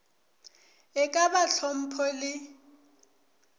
e ka ba hlompho le